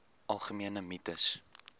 algemene mites